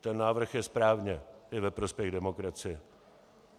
Ten návrh je správně, je ve prospěch demokracie.